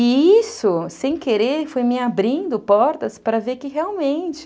E isso, sem querer, foi me abrindo portas para ver que realmente...